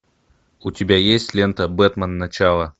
у тебя есть лента бэтмен начало